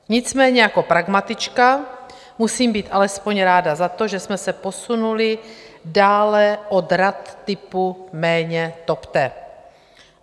Nicméně jako pragmatička musím být alespoň ráda za to, že jsme se posunuli dále od rad typu "méně topte".